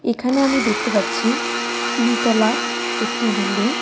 এখানে আমি দেখতে পাচ্ছি তিন তলা একটি বিল্ডিং .